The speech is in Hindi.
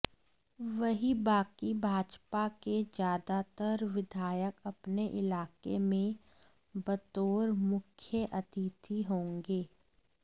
वहीं बाकी भाजपा के ज्यादातर विधायक अपने इलाके में बतौर मुख्य अतिथि होंगे